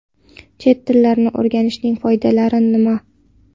Chet tillarini o‘rganishning foydalari nima?